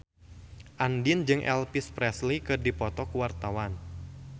Andien jeung Elvis Presley keur dipoto ku wartawan